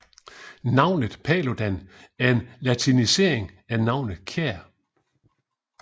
Navnet Paludan er en latinisering af navnet Kjær